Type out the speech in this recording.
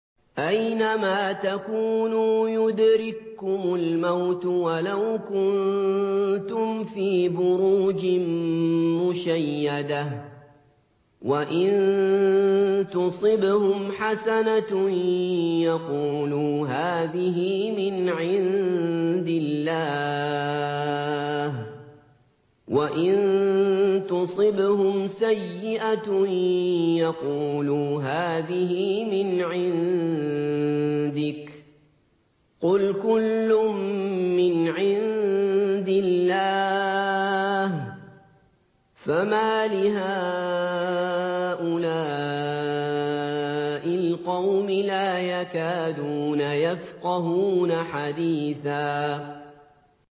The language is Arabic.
أَيْنَمَا تَكُونُوا يُدْرِككُّمُ الْمَوْتُ وَلَوْ كُنتُمْ فِي بُرُوجٍ مُّشَيَّدَةٍ ۗ وَإِن تُصِبْهُمْ حَسَنَةٌ يَقُولُوا هَٰذِهِ مِنْ عِندِ اللَّهِ ۖ وَإِن تُصِبْهُمْ سَيِّئَةٌ يَقُولُوا هَٰذِهِ مِنْ عِندِكَ ۚ قُلْ كُلٌّ مِّنْ عِندِ اللَّهِ ۖ فَمَالِ هَٰؤُلَاءِ الْقَوْمِ لَا يَكَادُونَ يَفْقَهُونَ حَدِيثًا